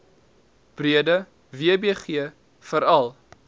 breede wbg veral